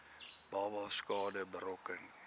babas skade berokken